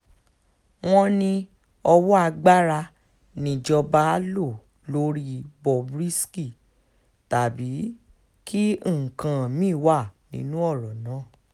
wọ́n ní owó agbára níjọba lọ lórí bob risky tàbí kí nǹkan mì-ín wà nínú ọ̀rọ̀ náà